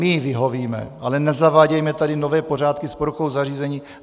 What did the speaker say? My jí vyhovíme, ale nezavádějme tady nové pořádky s poruchou zařízení.